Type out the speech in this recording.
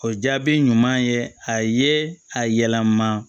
O jaabi ɲuman ye a ye a yɛlɛma